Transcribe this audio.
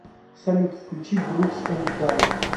салют включи брукс энд данн